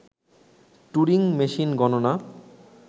Turing machine গণনা